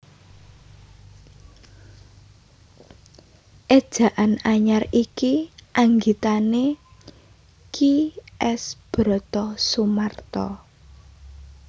Éjaan Anyar iki anggitané Ki S Brotosumarto